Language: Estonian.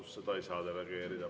Vastus: seda ei saa delegeerida.